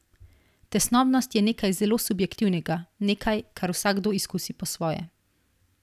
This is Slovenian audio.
Tesnobnost je nekaj zelo subjektivnega, nekaj, kar vsakdo izkusi po svoje.